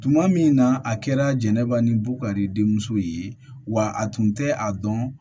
Tuma min na a kɛra jɛnɛba ni bukari denmuso ye wa a tun tɛ a dɔn